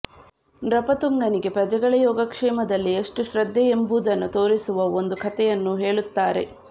ನೃಪತುಂಗನಿಗೆ ಪ್ರಜೆಗಳ ಯೋಗಕ್ಷೇಮದಲ್ಲಿ ಎಷ್ಟು ಶ್ರದ್ಧೆ ಎಂಬುದನ್ನು ತೋರಿಸುವ ಒಂದು ಕಥೆಯನ್ನು ಹೇಳುತ್ತಾರೆ